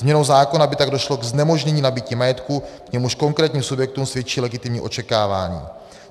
Změnou zákona by tak došlo ke znemožnění nabytí majetku, k němuž konkrétním subjektům svědčí legitimní očekávání.